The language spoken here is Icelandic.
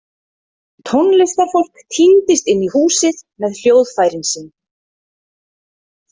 Tónlistarfólk tíndist inn í húsið með hljóðfærin sín.